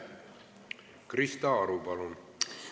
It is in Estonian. Krista Aru, palun!